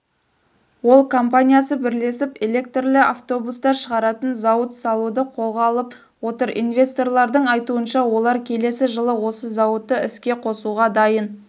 ол компаниясы бірлесіп электрлі автобустар шығаратын зауыт салуды қолға алып отыр инвесторлардың айтуынша олар келесі жылы осы зауытты іске қосуға дайын